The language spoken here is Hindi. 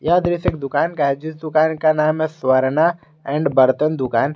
यह दृश्य एक दुकान का है जिस दुकान का नाम है स्वर्णा एण्ड बर्तन दुकान।